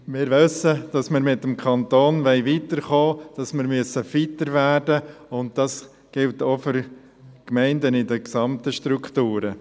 Wir müssen mit dem Kanton weiterkommen, wir müssen fitter werden, und das gilt auch für die Gemeinden in den gesamten Strukturen.